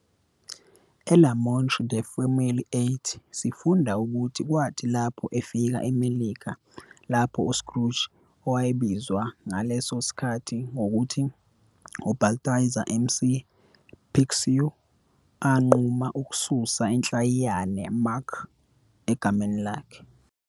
ELa Montre de famille8, sifunda ukuthi kwathi lapho efika eMelika lapho uScrooge, owayebizwa ngaleso sikhathi ngokuthi uBalthazar McPicsou, anquma ukususa inhlayiyana "Mac" egameni lakhe.